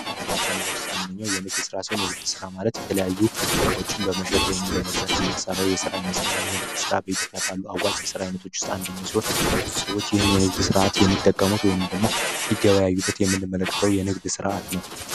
የስራ ስራ ከምንለው ውስጥ አንደኛው የንግድ ሥራ ሲሆን የንግድ ሥራ ማለት የተለያዩ ዕቃዎችን በመሸጥ ወይንም በመግዛት የሚንሠራው የስራይነት ሲሆን የሚየንግድ ሥራ በኢትዮጵያ ካሉ አዋጭ የስራ ይነቶች ውስጥ አንደኘው ሲሆን ብዙ ሰዎች ይህን የንግድ ስርዓት የሚጠቀሙት ወይንም ደግሞ ሊገባያዩበት የምንመለከተው የንግድ ስርዓት ነው።